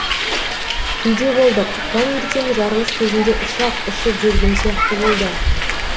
үйде болдық таңертең жарылыс кезінде ұшақ ұшып жүрген сияқты болды